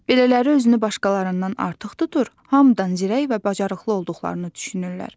Belələri özünü başqalarından artıq tutur, hamıdan zirək və bacarıqlı olduqlarını düşünürlər.